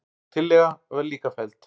Sú tillaga var líka felld.